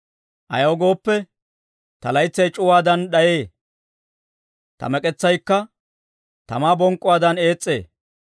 Ayaw gooppe, ta laytsay c'uwaadan d'ayee; ta mek'etsaykka tamaa bonk'k'uwaadan ees's'ee.